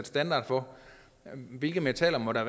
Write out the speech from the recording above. standard for hvilke metaller der